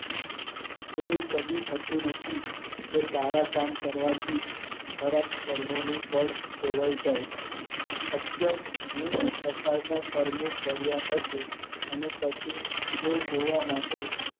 એવું કદી થતું નથી કે સારા કામ કરવાથી ખરાબ કર્મો નું ફળ ભોગવવું પડે અત્યત પ્રકારના કર્મો કાર્ય હશે અને પછી એ ધોવા માટે